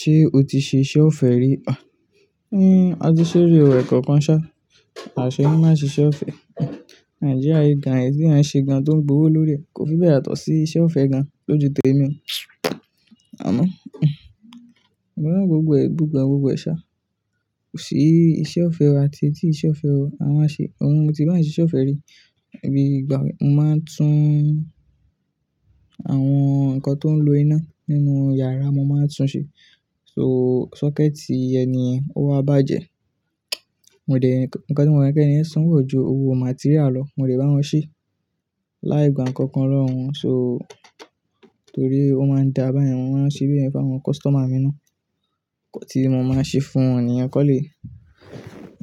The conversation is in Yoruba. Ṣé o ti ṣe iṣẹ́ ọ̀fẹ́ rí? Àti sée rí o ẹ̀kankan ṣá, aṣe lo má n ṣe iṣe ọ̀fẹ́. Nigeria yìí ìgàn ẹ́yi tí ẹ̀yàn ń ṣe gan tó ń gbowó lórí rẹ̀ kò fi bẹ̀ẹ̀ yatọ́ sí iṣẹ́ ọ̀fẹ́ gan lóju tèmi. Àmo gbogbo ẹ̀, gbogbo ẹ gbogbo ẹ ṣá, kò sí iṣẹ́ ọ̀fẹ́ o àti èyí tií ṣẹ́ ọ̀fẹ́ o. A máa n ṣe, òun mo ti bá ṣe iṣẹ́ ọ̀fẹ́ rí, èmi ìgbàmi mo máa ń tún àwọn nǹkan tó ń lo iná nínú iyàrá mo máa ń tún ṣe. So socket ẹni yẹn ó wa bàjẹ́, mo dẹ̀ ẹ́, nǹkan tí mo mọ̀ pé kí ẹniyen sanwó e o jù owó material lọ, mo dẹ̀ bá wọn ṣe. Láì gba nǹkankan lọ́wọ́ wọn so torí ó máa ń dà bá yẹn, mo máa ń ṣe bẹ́ẹ̀ fún àwọn customer mi ná. Ǹkan tí mo máa n ṣe fún wọn nìyẹn kan le